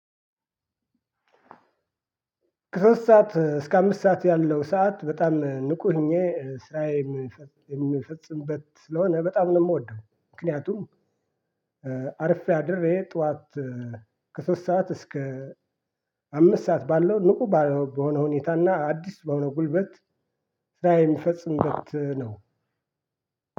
ከሶስት ሰዓት እስከ አምስት ሰዓት ያለው ሰዓት በጣም እ ንቁ ሆኜ እ ስራዬን የምፈጽምበት ስለሆነ በጣም ነው የምወደው። ምክንያቱም እ አርፌ አድሬ ጠዋት። ከሶስት ሰዓት እስከ አምስት ሰዓት ባለው ንቁ በሆነ ሁኔታና አዲስ በሆነ ጉልበት ስራ የምፈጽምበት ነው።